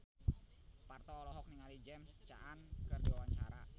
Parto olohok ningali James Caan keur diwawancara